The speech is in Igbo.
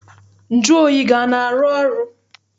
Nju oyi gị ana arụ ọrụ?